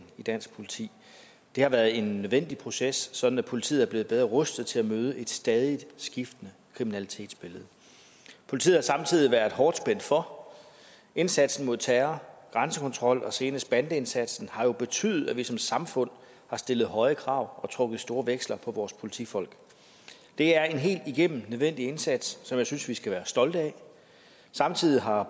i dansk politi det har været en nødvendig proces sådan at politiet er blevet bedre rustet til at møde et stadig skiftende kriminalitetsbillede politiet har samtidig været hårdt spændt for indsatsen mod terror grænsekontrollen og senest bandeindsatsen har jo betydet at vi som samfund har stillet høje krav og trukket store veksler på vores politifolk det er en helt igennem nødvendig indsats som jeg synes vi skal være stolte af samtidig har